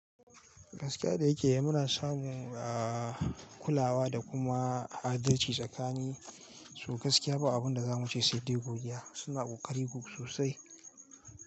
Gaskiya da yake yi muna samu, ah, kulawa da kuma adalci tsakanin su. Gaskiya ba abin da za mu ce sai dai godiya. Suna ƙoƙari sosai.